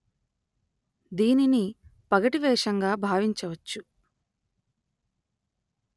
దీనిని పగటి వేషంగా భావించ వచ్చు